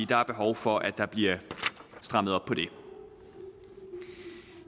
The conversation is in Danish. der er behov for at der bliver strammet op på det